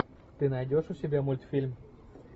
ты найдешь у себя мультфильм